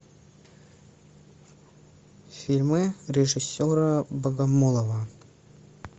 фильмы режиссера богомолова